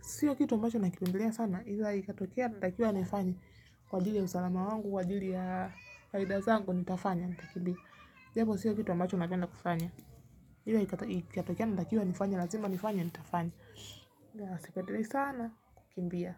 siyo kitu ambacho nakipendelea sana ila ikatokea natakiuwa nikifanye kwa ajili ya usalama wangu, kwa ajili ya faida zangu nitafanya, nitakimbia ila ikatokea natakiwa nifanye lazima nifanye, nitafanya ila sipendelei sana kukimbia.